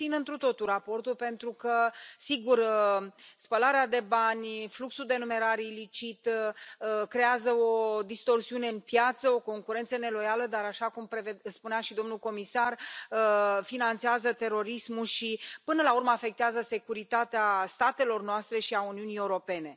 Susțin întru totul raportul, pentru că, sigur, spălarea de bani, fluxul de numerar ilicit creează o distorsiune în piață, o concurență neloială, dar, așa cum spunea și domnul comisar, finanțează terorismul și, până la urmă, afectează securitatea statelor noastre și a Uniunii Europene.